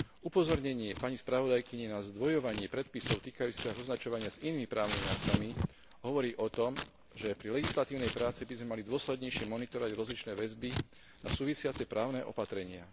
Upozornenie pani spravodajkyne na zdvojovanie predpisov týkajúcich sa označovania s inými právnymi aktmi hovorí o tom, že pri legislatívnej práci by sme mali dôslednejšie monitorovať rozličné väzby a súvisiace právne opatrenia.